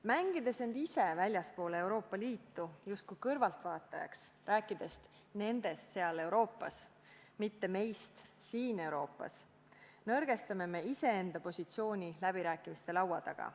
Mängides end ise Euroopa Liidust väljapoole justkui kõrvaltvaatajaks ning rääkides nendest seal Euroopas, mitte meist siin Euroopas, nõrgestame enda positsiooni läbirääkimiste laua taga.